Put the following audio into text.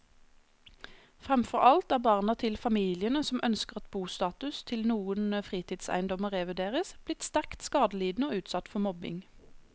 Fremfor alt er barna til familiene som ønsker at bostatus til noen fritidseiendommer revurderes, blitt sterkt skadelidende og utsatt for mobbing.